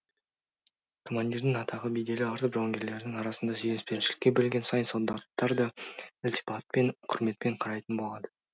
командирдің атағы беделі артып жауынгерлердің арасында сүйіспеншілікке бөленген сайын солдаттар да ілтипатпен құрметпен қарайтын болады